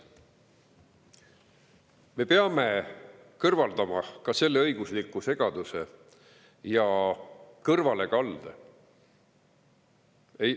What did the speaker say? Me peame kõrvaldama ka selle õigusliku segaduse ja kõrvalekalde.